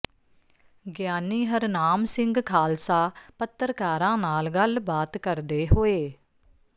ਗਿਆਨੀ ਹਰਨਾਮ ਸਿੰਘ ਖ਼ਾਲਸਾ ਪੱਤਰਕਾਰਾਂ ਨਾਲ ਗੱਲਬਾਤ ਕਰਦੇ ਹੋਏ